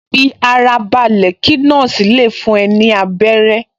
Fi ara balẹ̀ kí nọ́ọ̀sì le fún ẹ ní abẹ́rẹ́